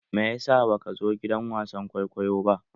Me ya sa baka zo gidan wasan kwaikwayo ba?